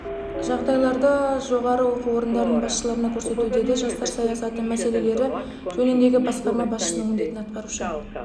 жағдайларды жоғары оқу орындарының басшыларына көрсету деді жастар саясаты мәселелері жөніндегі басқарма басшысының міндетін атқарушы